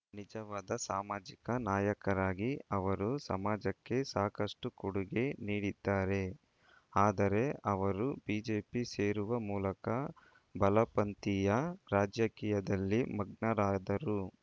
ನಿಜವಾದ ಸಾಮಾಜಿಕ ನಾಯಕರಾಗಿ ಅವರು ಸಮಾಜಕ್ಕೆ ಸಾಕಷ್ಟುಕೊಡುಗೆ ನೀಡಿದ್ದಾರೆ ಆದರೆ ಅವರು ಬಿಜೆಪಿ ಸೇರುವ ಮೂಲಕ ಬಲಪಂಥೀಯ ರಾಜಕೀಯದಲ್ಲಿ ಮಗ್ನರಾದರು